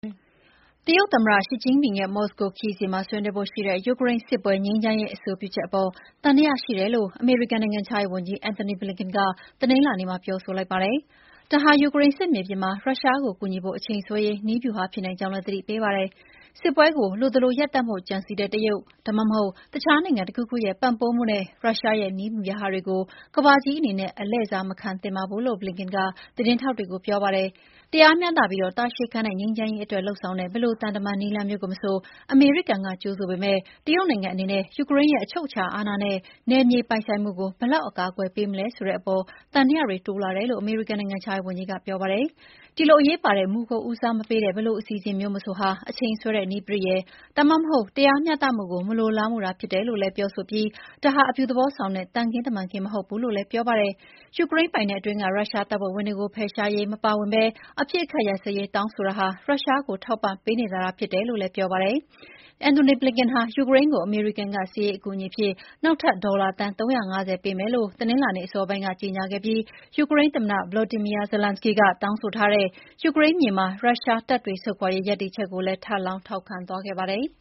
တရုတ်သမ္မတရှီကျင့်ဖျင်ရဲ့ မော်စကိုခရီးစဉ်မှာ ဆွေးနွေးဖို့ရှိတဲ့ ယူကရိန်းစစ်ပွဲ ငြိမ်းချမ်းရေးအဆိုပြုချက်အပေါ် သံသယရှိတယ်လို့ အမေရိကန်နိုင်ငံခြားရေးဝန်ကြီး အန်ထိုနီ ဘလင်ကန်က တနင်္လာနေ့မှာ ထုတ်ဖော် ပြောဆိုလိုက်ပါတယ်။ ဒါဟာ ယူကရိန်းစစ်မြေပြင်မှာ ရုရှားကိုကူညီဖို့အချိန်ဆွဲရေး နည်းဗျူဟာဖြစ်နိုင်ကြောင်း သတိပေးလိုက်ပါတယ်။ “စစ်ပွဲကို လိုသလိုရပ်တန့်ဖို့ကြံစည်တဲ့ တရုတ် ဒါမှမဟုတ် တခြားနိုင်ငံတခုခုရဲ့ပံ့ပိုးမှုနဲ့ ရုရှားရဲ့ နည်းဗျူဟာတွေကို ကမ္ဘာကြီးအနေနဲ့ အလှည့်စားမခံသင့်ပါဘူး” လို့ ဘလင်ကန်က သတင်းထောက်တွေကို ပြောပါတယ်။ "တရားမျှတပြီး တာရှည်ခံတဲ့ငြိမ်းချမ်းရေး" အတွက်လုပ်ဆောင်တဲ့ ဘယ်လိုသံတမန် နည်းလမ်းမျိုးကိုမဆို အမေရိကန်ကကြိုဆိုပေမယ့် တရုတ်နိုင်ငံအနေနဲ့ ယူကရိန်းရဲ့ "အချုပ်အခြာအာဏနဲ့ နယ်မြေပိုင်ဆိုင်မှု" ကို ဘယ်လောက် အကာအကွယ်ပေးမလဲဆိုတာအပေါ် သံသယတွေတိုးလာတယ်လို့ အမေရိကန်နိုင်ငံခြားရေးဝန်ကြီးက ပြောပါတယ်။ "ဒီလို အရေးပါတဲ့မူကို ဦးစားမပေးတဲ့ ဘယ်လိုအစီအစဉ်မျိုးမဆိုဟာ အချိန်ဆွဲတဲ့နည်းပရိယာယ်၊ ဒါမှမဟုတ် တရားမျှတမှုကို မလိုလားတာသာဖြစ်တယ်လို့ဆိုပြီး ဒါဟာ အပြုသဘောဆောင်တဲ့ သံခင်းတမန်ခင်း မဟုတ်ဘူး" လို့ ဘလင်ကန်က ပြောပါတယ်။ "ယူကရိန်းပိုင်နက်အတွင်းက ရုရှားတပ်ဖွဲ့ဝင်တွေကို ဖယ်ရှားရေးမပါဝင်ဘဲ အပစ်အခတ်ရပ်စဲရေး တောင်းဆိုတာဟာ ရုရှားကို ထောက်ပံ့ပေးနေတာသာ ဖြစ်တယ်" လို့ လည်း သူက ပြောပါတယ်။ ဘလင်ကန်ဟာ ယူကရိန်းကို အမေရိကန်က စစ်ရေးအကူအညီအဖြစ် နောက်ထပ် ဒေါ်လာ သန်း ၃၅၀ ပေးမယ်လို့ တနင်္လာနေ့အစောပိုင်းက ကြေညာခဲ့ပြီး ယူကရိန်းသမ္မတ ဗလော်ဒီမီယာ ဇလန်းစကီ (Volodymyr Zelensky) က တောင်းဆိုထားတဲ့ “ယူကရိန်းမြေက ရုရှားတပ်တွေ ဆုတ်ခွာရေး” ရပ်တည်ချက်ကိုလည်း ဘလင်ကန်က ထပ်လောင်းထောက်ခံခဲ့ပါတယ်။